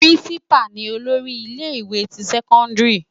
Pirinsipá ni ólóri ile iwé ti sèkóndiri